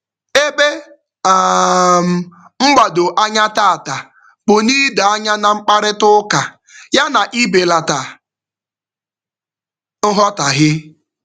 Ebe um mgbado anya tata bụ n'ido anya na mkparịtaụka ya na ibelata nghọtaghie.